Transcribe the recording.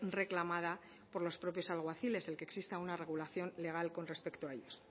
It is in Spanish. reclamada por los propios alguaciles el que exista una regulación legal con respecto a ellos